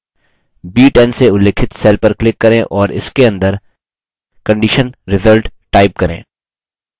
b10 से उल्लिखित cell पर click करें और इसके अंदर condition result type करें